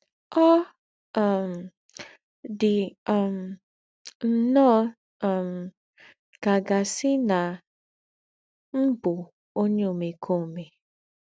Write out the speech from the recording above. Ọ̀ um dì um nnọ́ọ́ um ká à gà-àsí nà m̀ bú ònyè ómèkómè.